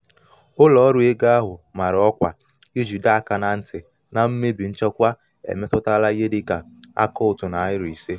ụlọ um ọrụ ego ahụ mara ọkwa iji doo aka na nti na mmebi nchekwa emetụtala ihe dị ka akaụntụ nari ise.